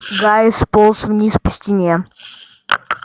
гарри сполз вниз по стене